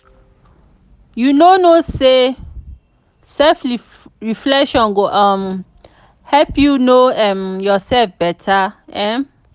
you no know sey self-reflection go um help you know um yoursef beta? um